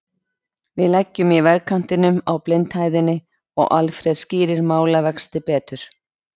Við leggjum í vegkantinum á blindhæðinni og Alfreð skýrir málavexti betur.